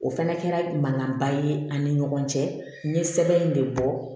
O fana kɛra mankanba ye ani ɲɔgɔn cɛ n ye sɛbɛn in de bɔ